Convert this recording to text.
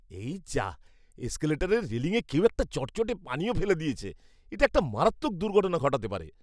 এই যাঃ, এসকেলেটরের রেলিংয়ে কেউ একটা চটচটে পানীয় ফেলে দিয়েছে। এটা একটা মারাত্মক দুর্ঘটনা ঘটাতে পারে।